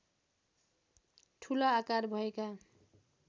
ठुला आकार भएका